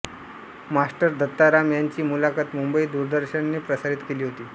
master Dattaram यांची मुलाखत मुंबई दूरदर्शनने प्रसारित केली होती